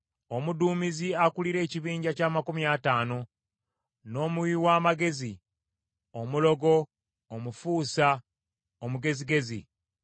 Omuduumizi akulira ekibinja ky’amakumi ataano, n’omuwi w’amagezi, omulogo, omufuusa omugezigezi.